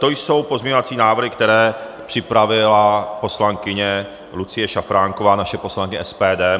To jsou pozměňovací návrhy, které připravila poslankyně Lucie Šafránková, naše poslankyně SPD.